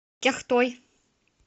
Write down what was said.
кяхтой